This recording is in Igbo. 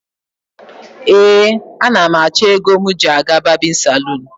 Ee, anam acho ego m ji aga babinsalon